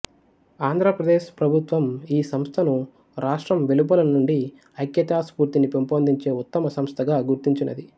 ఆంధ్ర ప్రదేశ్ ప్రభుత్వం ఈ సంస్థను రాష్ట్రం వెలుపల నుండి ఐక్యతా స్ఫూర్తిని పెంపొందించే ఉత్తమ సంస్థ గా గుర్తించినది